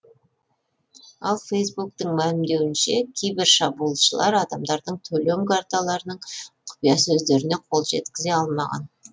ал фейсбуктің мәлімдеуінше кибершабуылшылар адамдардың төлем карталарының құпия сөздеріне қол жеткізе алмаған